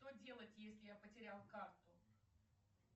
что делать если я потерял карту